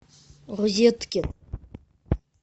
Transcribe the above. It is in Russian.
розетки